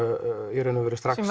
í raun og veru